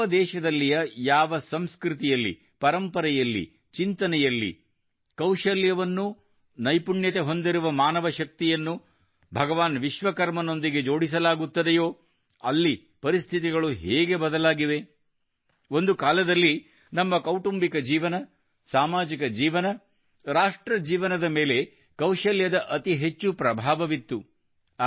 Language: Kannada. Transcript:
ಯಾವ ದೇಶದಲ್ಲಿಯ ಯಾವ ಸಂಸ್ಕೃತಿಯಲ್ಲಿ ಪರಂಪರೆಯಲ್ಲಿ ಚಿಂತನೆಯಲ್ಲಿ ಕೌಶಲ್ಯವನ್ನು ನೈಪುಣ್ಯತೆ ಹೊಂದಿರುವ ಮಾನವಶಕ್ತಿಯನ್ನು ಭಗವಾನ್ ವಿಶ್ವಕರ್ಮನೊದಿಗೆಜೋಡಿಸಲಾಗುತ್ತದೆಯೋ ಅಲ್ಲಿ ಪರಿಸ್ಥಿತಿಗಳು ಹೇಗೆ ಬದಲಾಗಿವೆ ಒಂದು ಕಾಲದಲ್ಲಿ ನಮ್ಮ ಕೌಟುಂಬಿಕ ಜೀವನ ಸಾಮಾಜಿಕ ಜೀವನ ರಾಷ್ಟ್ರ ಜೀವನದ ಮೇಲೆ ಕೌಶಲ್ಯದ ಅತಿ ಹೆಚ್ಚು ಪ್ರಭಾವವಿತ್ತು